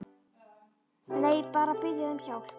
Nei, bara að biðja þig um hjálp.